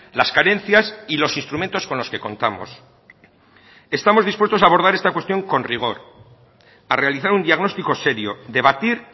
las carencias y los instrumentos con los que contamos estamos dispuestos abordar esta cuestión con rigor a realizar un diagnóstico serio debatir